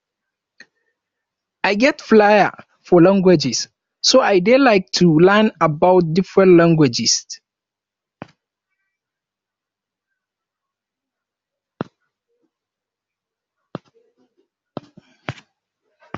i get flare for languages so i dey like to learn about different languages